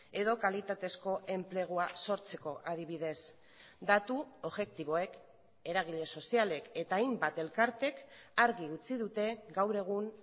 edo kalitatezko enplegua sortzeko adibidez datu objektiboek eragile sozialek eta hainbat elkarteek argi utzi dute gaur egun